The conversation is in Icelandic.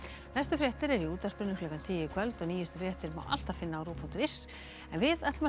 næstu fréttir eru í útvarpinu klukkan tíu í kvöld og nýjustu fréttir má alltaf finna á rúv punktur is en við ætlum að